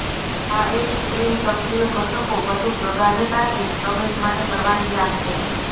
આ એક ક્રીમ સક્રિય ઘટકો વધુ પ્રગાઢતાથી પ્રવેશ માટે પરવાનગી આપશે